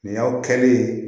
Nin y'aw kɛlen ye